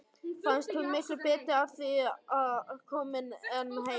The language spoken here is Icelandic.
Fannst hún miklu betur að því komin en hann.